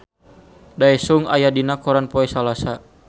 Daesung aya dina koran poe Salasa